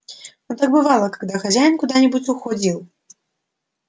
но так бывало когда хозяин куда нибудь уходил